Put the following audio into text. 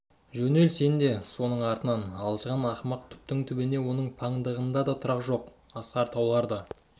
жөнел сен де соның артынан алжыған ақымақ түптің-түбінде оның паңдығында да тұрақ жоқ асқар таулар да